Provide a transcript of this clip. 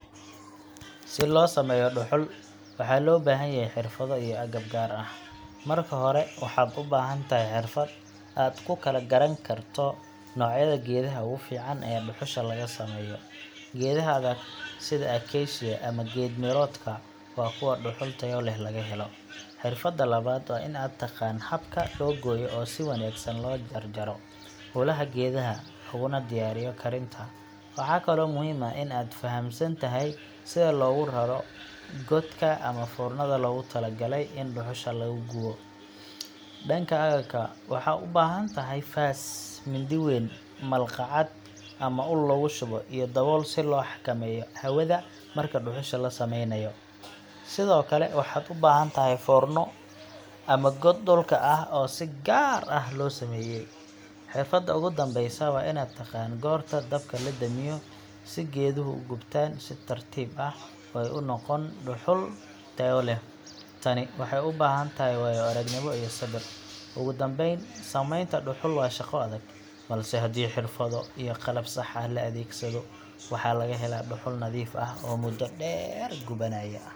Si loo sameeyo dhuxul, waxaa loo baahan yahay xirfado iyo agab gaar ah. Marka hore, waxaad u baahan tahay xirfad aad ku kala garan karto noocyada geedaha ugu fiican ee dhuxusha laga sameeyo. Geedaha adag sida acacia ama geed miroodka waa kuwa dhuxul tayo leh laga helo. Xirfadda labaad waa in aad taqaan habka loo gooyo oo si wanaagsan loo jarjaro ulaha geedaha, looguna diyaariyo karinta. Waxaa kaloo muhiim ah in aad fahamsan tahay sida loogu rarro godka ama foornada loogu tala galay in dhuxusha lagu gubo. Dhanka agabka, waxaad u baahan tahay faas, mindi weyn, malqacad ama ul lagu shubo, iyo dabool si loo xakameeyo hawada marka dhuxusha la sameynayo. Sidoo kale waxaad u baahan tahay foorno ama god dhulka ah oo si gaar ah loo sameeyey. Xirfadda ugu dambeysa waa inaad taqaan goorta dabka la damiyo si geeduhu u gubtaan si tartiib ah oo ay u noqon dhuxul tayo leh. Tani waxay u baahan tahay waayo-aragnimo iyo sabir. Ugu dambeyn, samaynta dhuxul waa shaqo adag, balse haddii xirfado iyo qalab sax ah la adeegsado, waxaa laga helaa dhuxul nadiif ah oo muddo dheer gubanaya.